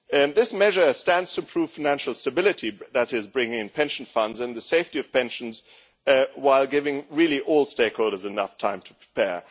This measure stands to improve financial stability that is bringing in pension funds and the safety of pensions while giving all stakeholders enough time to prepare.